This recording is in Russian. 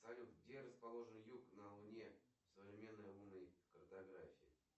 салют где расположен юг на луне в современной лунной картографии